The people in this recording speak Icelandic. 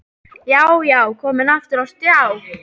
Já, já, komin aftur á stjá!